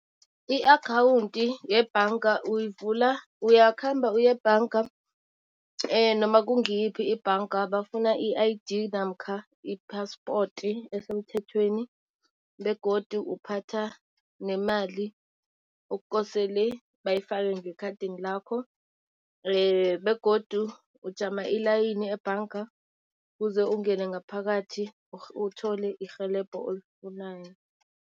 I-akhawunti yebhanga uyivula, uyakhamba uyebhanga noma kungiyiphi ibhanga bafuna i-I_D namkha iphaspoti esemthethweni. Begodu uphatha nemali okukosele bayifake ngekhadini lakho begodu ujama ilayini ebhanga kuze ungene ngaphakathi uthole irhelebho olifunayo.